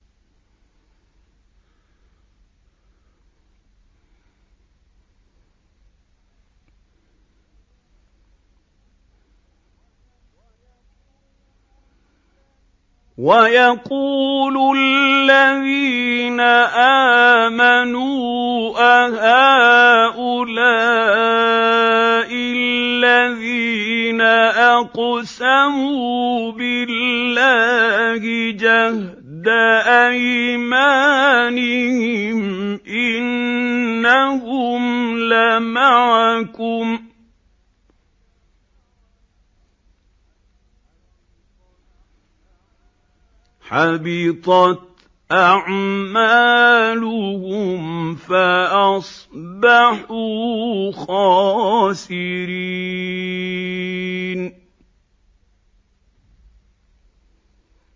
وَيَقُولُ الَّذِينَ آمَنُوا أَهَٰؤُلَاءِ الَّذِينَ أَقْسَمُوا بِاللَّهِ جَهْدَ أَيْمَانِهِمْ ۙ إِنَّهُمْ لَمَعَكُمْ ۚ حَبِطَتْ أَعْمَالُهُمْ فَأَصْبَحُوا خَاسِرِينَ